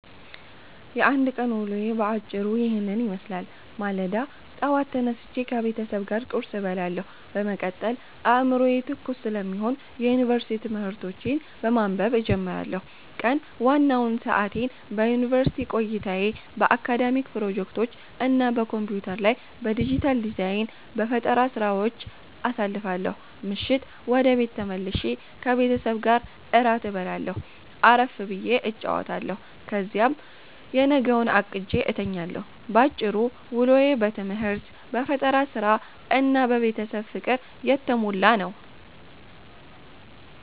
የአንድ ቀን ውሎዬ በአጭሩ ይህንን ይመስላል፦ ማለዳ፦ ጠዋት ተነስቼ ከቤተሰብ ጋር ቁርስ እበላለሁ፤ በመቀጠል አዕምሮዬ ትኩስ ስለሚሆን የዩኒቨርሲቲ ትምህርቶቼን በማንበብ እጀምራለሁ። ቀን፦ ዋናውን ሰዓቴን በዩኒቨርሲቲ ቆይታዬ፣ በአካዳሚክ ፕሮጀክቶች እና በኮምፒውተር ላይ በዲጂታል ዲዛይን/በፈጠራ ሥራዎች አሳልፋለሁ። ምሽት፦ ወደ ቤት ተመልሼ ከቤተሰቤ ጋር እራት እበላለሁ፣ አረፍ ብዬ እጫወታለሁ፤ ከዚያም የነገውን አቅጄ እተኛለሁ። ባጭሩ፤ ውሎዬ በትምህርት፣ በፈጠራ ሥራ እና በቤተሰብ ፍቅር የተሞላ ነው።